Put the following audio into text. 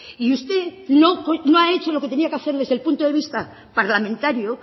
y usted no ha hecho lo que tenía que hacer desde el punto de vista parlamentario